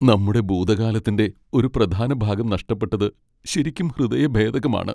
നമ്മുടെ ഭൂതകാലത്തിന്റെ ഒരു പ്രധാന ഭാഗം നഷ്ടപ്പെട്ടത് ശരിക്കും ഹൃദയഭേദകമാണ്.